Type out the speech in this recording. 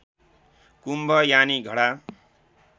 कुम्भ यानि घडा